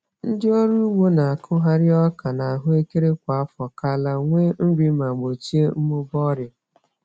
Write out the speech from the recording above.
Ndị ọrụ ugbo na-akụgharị ọka na ahụekere kwa afọ ka ala nwee nri ma gbochie mmụba ọrịa.